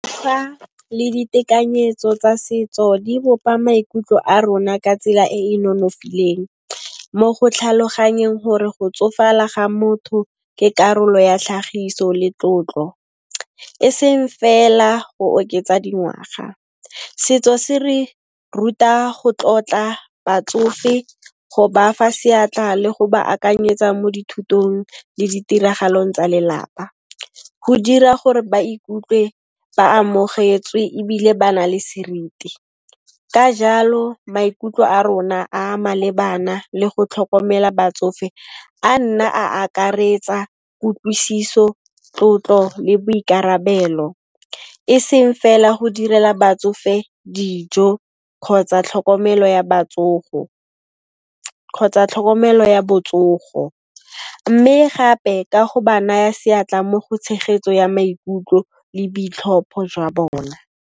Fa le ditekanyetso tsa setso di bopa maikutlo a rona ka tsela e e nonofileng mo go tlhaloganyeng gore go tsofala ga motho ke karolo ya tlhagiso le tlotlo, e seng fela go oketsa dingwaga. Setso se re ruta go tlotla batsofe, go ba fa seatla le go ba akanyetsa mo dithutong le ditiragalong tsa lelapa, go dira gore ba ikutlwe ba amogetswe ebile ba na le seriti. Ka jalo, maikutlo a rona a malebana le go tlhokomela batsofe a nna a akaretsa kutlwisiso, tlotlo le boikarabelo, e seng fela go direla batsofe dijo kgotsa tlhokomelo ya botsogo, mme gape ka go ba naya seatla mo go tshegetso ya maikutlo le boitlhopho jwa bona.